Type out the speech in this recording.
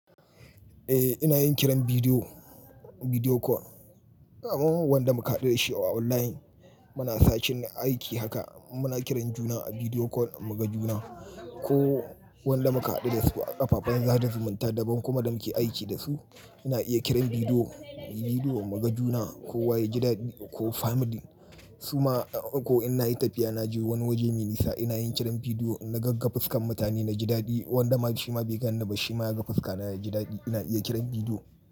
Eh ina yin kiran bidiyo, bidiyo call. Wanda muka haɗu da shi online muna sacin aiki haka muna kiran juna a bidiyo call mu ga juna ko wanda muka haɗu da su a kafafen sada zumunta daban kuma da muke aiki da su. Ina iya kiran bidiyo, bidiyo mu ga juna ko waya jidadi ko family su ma ko ina yi tafiya naje wani waje mai nisa ina yin kiran bidiyo na gagga fuskan mutane na jidadi wanda ma shi ma bai gani na ba shi ma ya ga fuska na ya jidadi ina iya kiran bidiyo.